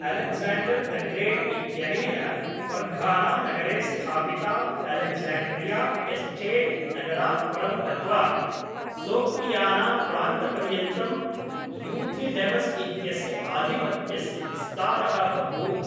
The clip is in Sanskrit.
अलेक्जेण्डर् द ग्रेट् इत्यनेन फर्घानानगरे स्थापितात् अलेक्जेण्ड्रिया एस्चेट्नगरात् परं गत्वा सोग्डियानाप्रान्तपर्यन्तं यूथिडेमस् इत्यस्य आधिपत्यस्य विस्तारः बभूव।